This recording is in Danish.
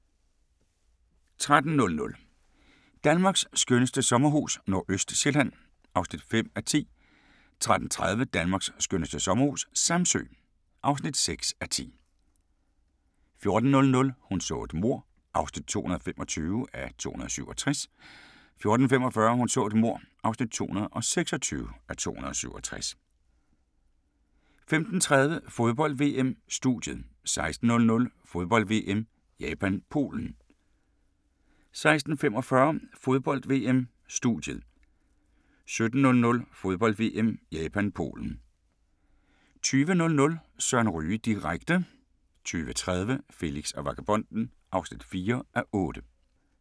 13:00: Danmarks skønneste sommerhus - Nordøstsjælland (5:10) 13:30: Danmarks skønneste sommerhus - Samsø (6:10) 14:00: Hun så et mord (225:267) 14:45: Hun så et mord (226:267) 15:30: Fodbold: VM: Studiet 16:00: Fodbold: VM - Japan-Polen 16:45: Fodbold: VM: Studiet 17:00: Fodbold: VM - Japan-Polen 20:00: Søren Ryge direkte 20:30: Felix og vagabonden (4:8)